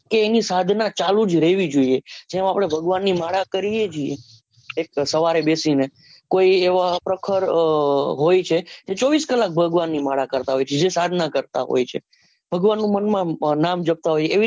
એની સાધના ચાલુ જ રહેવી જોઈએ જેમ આપને ભગવાનની માળા કરીએ છીએ સવારે બેસીને કોઈ એવા પ્રખર હોય છે એ ચોવીશ કલાક ભગવાનની માળા કરતા હોય છે જે સાધના કરતા હોય છે ભગવાનનું મનમાં આમ નામ જપતા હોય એવી